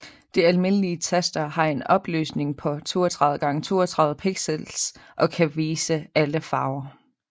De almindelige taster har en opløsning på 32x32 pixels og kan vise alle farver